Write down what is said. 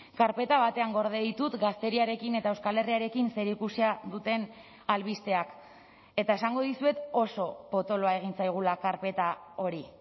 karpeta batean gorde ditut gazteriarekin eta euskal herriarekin zerikusia duten albisteak eta esango dizuet oso potoloa egin zaigula karpeta hori